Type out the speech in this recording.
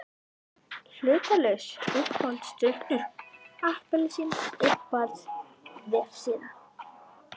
Hlutlaus Uppáhaldsdrykkur: Appelsín Uppáhalds vefsíða?